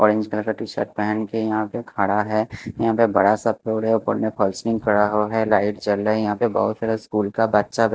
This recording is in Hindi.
ऑरेंज कलर का टी- शर्ट पहन के यहाँ पे खड़ा है यहाँ पे बड़ा सा फ्लोर है ऊपर में फसलिंग करा हुआ है लाइट चल रहा है यहाँ पे बहुत सारा स्कूल का बच्चा--